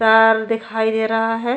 तार दिखाई दे रहा है।